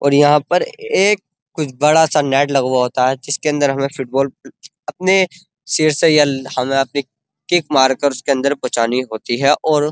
यहां पर एक कुछ बड़ा सा नेट लगा हुआ होता है। जिसके अंदर हमें फुटबोल अपने सिर से या हमें अपने किक मार कर उसके अंदर पहुचनी होती है और --